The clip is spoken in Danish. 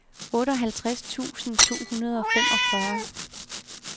otteoghalvtreds tusind to hundrede og femogfyrre